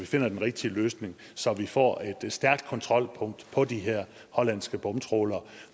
til den rigtige løsning så vi får et stærkt kontrolpunkt på de her hollandske bomtrawlere